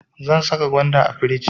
Zan saka gwanda a firij.